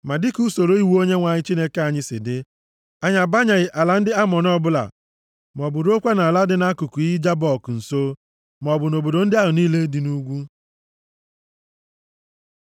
Ma dịka usoro iwu Onyenwe anyị Chineke anyị si dị, anyị abanyeghị ala ndị Amọn ọbụla maọbụ ruokwa nʼala dị nʼakụkụ iyi Jabọk nso, maọbụ nʼobodo ndị ahụ niile dị nʼugwu.